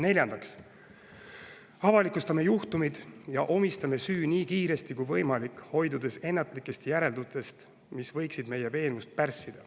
Neljandaks avalikustame juhtumid ja omistame süü nii kiiresti kui võimalik, hoidudes siiski ennatlikest järeldustest, mis võiksid meie veenvust pärssida.